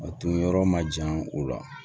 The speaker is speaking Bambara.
A tun yɔrɔ ma jan o la